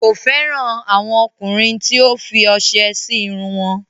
Kò fẹran àwọn ọ̀kùnrin tí o fì ose sí irùn wọn.